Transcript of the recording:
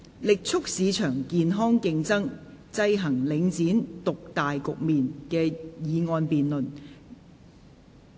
"力促市場健康競爭，制衡領展獨大局面"的議案辯論。